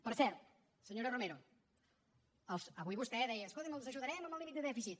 per cert senyora romero avui vostè deia escolti els ajudarem amb el límit de dèficit